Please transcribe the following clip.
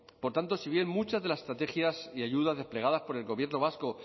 por tanto si bien muchas de las estrategias y ayudas desplegadas por el gobierno vasco